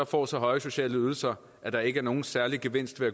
får så høje sociale ydelser at der ikke er nogen særlig gevinst ved at